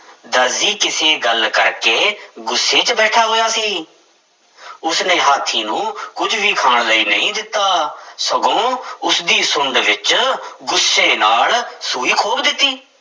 ਦਰਜੀ ਕਿਸੇ ਗੱਲ ਕਰਕੇ ਗੁੱਸੇ ਵਿੱਚ ਬੈਠਾ ਹੋਇਆ ਸੀ ਉਸਨੇ ਹਾਥੀ ਨੂੰ ਕੁੱਝ ਵੀ ਖਾਣ ਲਈ ਨਹੀਂ ਦਿੱਤਾ, ਸਗੋਂ ਉਸਦੀ ਸੁੰਡ ਵਿੱਚ ਗੁੱਸੇ ਨਾਲ ਸੂਈ ਖੋਭ ਦਿੱਤੀ।